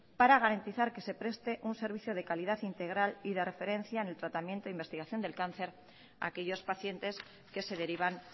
para garantizar que se preste un servicio de calidad integral y de referencia en el tratamiento investigación del cáncer a aquellos pacientes que se derivan